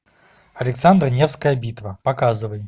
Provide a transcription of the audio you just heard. александр невская битва показывай